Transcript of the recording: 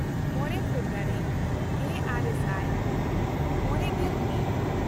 ᱢᱚᱬᱮ ᱯᱷᱮᱵᱨᱩᱣᱟᱨᱤ ᱜᱮᱼᱟᱨᱮ ᱥᱟᱭ ᱢᱚᱬᱮᱜᱮᱞ ᱢᱤᱫ